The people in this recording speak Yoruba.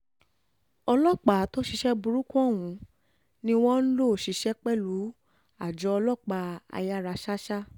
ọlọ́pàá tó ṣiṣẹ́ burúkú ọ̀hún ni wọ́n lọ ń ṣiṣẹ́ pẹ̀lú àjọ ọlọ́pàá ayáraṣàṣá